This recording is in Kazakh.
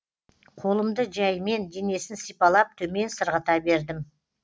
қолымды жәймен денесін сипалап төмен сырғыта бердім